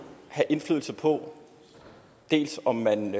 have indflydelse på om man